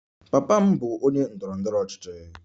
Papa m bụ onye ndọrọ ndọrọ ọchịchị.